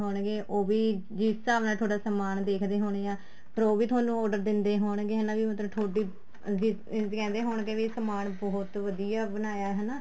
ਹੋਣਗੇ ਉਹ ਵੀ ਜਿਸ ਹਿਸਾਬ ਨਾਲ ਤੁਹਾਡਾ ਸਮਾਨ ਦੇਖਦੇ ਹੋਣੇ ਹਾਂ ਫ਼ੇਰ ਉਹ ਵੀ ਤੁਹਾਨੂੰ order ਦਿੰਦੇ ਹੋਣਗੇ ਹਨਾ ਵੀ ਮਤਲਬ ਤੁਹਾਡੀ ਵੀ ਕਹਿੰਦੇ ਹੋਣਗੇ ਵੀ ਸਮਾਨ ਬਹੁਤ ਵਧੀਆ ਬਣਾਇਆ ਹਨਾ